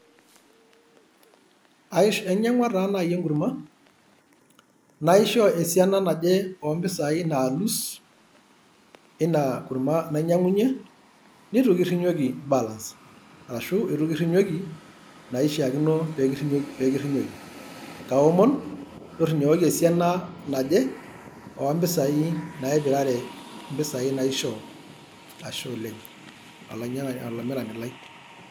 Ainyang'ua taa nai enkurma, naishoo esiana naje oo mpisai naalus ina kurma nainyang'unye, neitu kirinyoki [cs[ balance ashu eitu kirinyoki naishakino pekirinyoki. Kaomon, torinyokoki esiana naje oo mpisai naipirare impisai naishoo, ashe oleng olamirani lai.